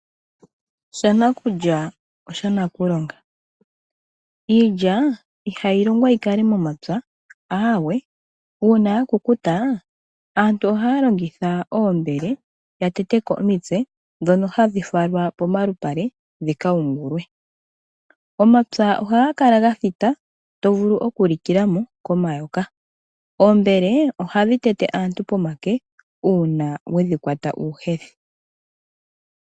Shanakulya osha nakulonga . Iilya ihayi longqa yikale momapya aawe. Uuna ya kukuta aantu ohaya longitha oombele ya teteko omitse ndhono hadhi falwa pomalupale dhi kayingulwe. Omapya ohaga kala ga thita nawa tovulu oku likilamo komayoka. Oombele ohadhi tete aantu pomake uuna wedhi kwata uuhethi.